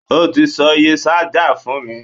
O tí sọ iye ṣájà fún mi.